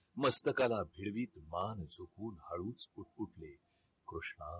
मस्तकाला फिरवीत मान झुकवून हळूच पुटपुटले कृष्णा